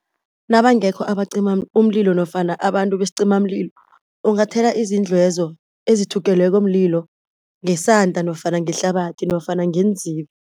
Nabangekho abacima umililo nofana abantu besicimamlilo ungathela izindlu lezo ezithungelweko mlilo ngesanda nofana ngehlabathi nofana ngeenzibi.